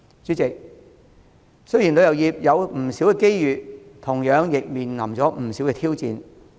主席，雖然旅遊業有不少機遇，但同樣亦面對不少挑戰。